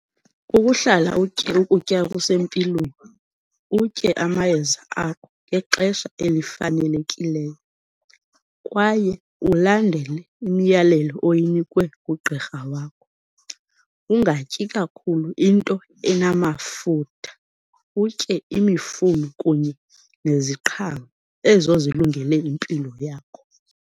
Kukuhlala utye ukutya okusempilweni utye amayeza akho ngexesha elifanelekileyo, kwaye ulandele imiyalelo oyinikwe ngugqirha wakho. Ungatyi kakhulu into enamafutha, utye imifuno kunye neziqhamo ezo zilungele impilo yakho.